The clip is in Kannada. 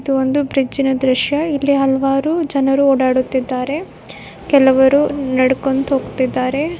ಇದು ಒಂದು ಬ್ರಿಡ್ಜ್ ನ ದೃಶ್ಯ ಇಲ್ಲಿ ಹಲವಾರು ಜನರು ಓಡಾಡುತ್ತಿದ್ದಾರೆ ಕೆಲವರು ನಡ್ಕೊಂಡ್ ಹೋಗ್ತಿದ್ದಾರೆ.